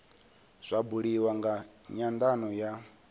zwa buliwa nga nyandano ya